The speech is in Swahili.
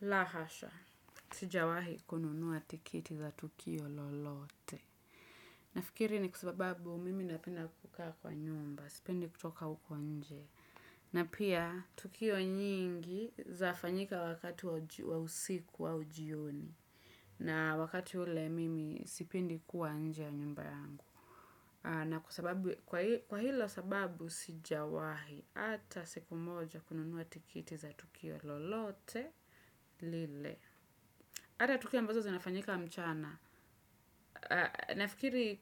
Laaa hasha! Sijawahi kununua tiketi za tukio lolote. Nafikiri ni kwa sababu mimi napenda kukaa kwa nyumba, sipendi kutoka huko nje. Na pia tukio nyingi zafanyika wakati wa usiku au jioni. Na wakati ule mimi sipendi kuwa nje ya nyumba yangu. Na kwa hilo sababu sijawahi hata siku moja kununua tiketi za tukio lolote lile. Hata tukio ambazo zinafanyika mchana. Nafikiri